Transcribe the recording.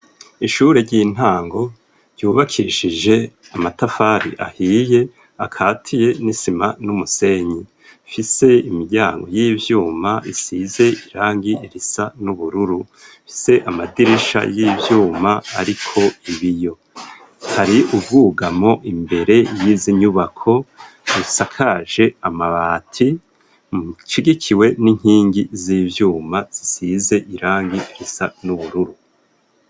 Ishure ry'intango ryubakishije amatafari ahiye akatiye n'isima n'umusenyi, ifise imiryango y'ivyuma isize irangi risa n'ubururu rifse amadirisha y'ivyuma ariko ibiyo. Hari ubwugamo imbere y'izi nyubako zisakaje amabati ashigikiwe n'inkingi z'ivyuma zisize irangi risa n'ubururu.